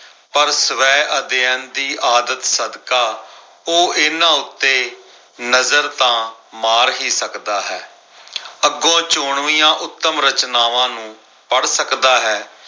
ਪਰ ਸਵੈ ਅਧਿਐਨ ਦੀ ਆਦਤ ਸਦਕਾ, ਉਹ ਇਨ੍ਹਾਂ ਉੱਤੇ ਨਜ਼ਰ ਤਾਂ ਮਾਰ ਹੀ ਸਕਦਾ ਹੈ। ਅੱਗੋਂ ਚੋਣਵੀਆਂ ਉੱਤਮ ਰਚਨਾਵਾਂ ਨੂੰ ਪੜ੍ਹ ਸਕਦਾ ਹੈ।